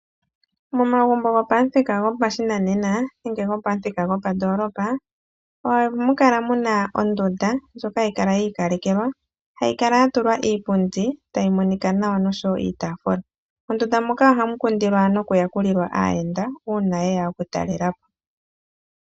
Momagumbo gopamuthika gwopashinanena nenge gopamuthika gwopandoolopa, ohamu kala muna ondunda ndyoka hayi kala yi ikalekelwa, hayi kala yatulwa iipundi tayi monika nawa nosho wo iitafula. Mondunda moka ohamu kundilwa nokuyakulilwa aayenda, uuna yeya okutalela po.